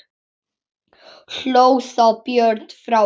Hló þá Björn frá Öxl.